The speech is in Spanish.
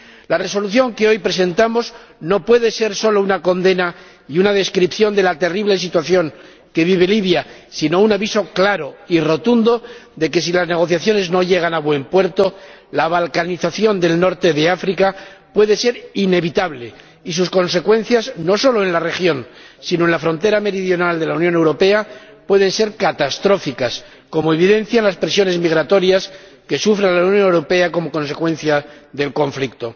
La Resolución que hoy presentamos no puede ser solo una condena y una descripción de la terrible situación que vive Libia, sino un aviso claro y rotundo de que, si las negociaciones no llegan a buen puerto, la balcanización del norte de África puede ser inevitable y sus consecuencias, no solo en la región, sino en la frontera meridional de la Unión Europea, pueden ser catastróficas, como evidencian las presiones migratorias que sufre la Unión Europea como consecuencia del conflicto.